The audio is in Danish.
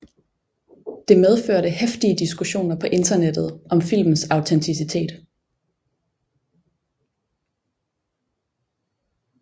Det medførte heftige diskussioner på internettet om filmens autenticitet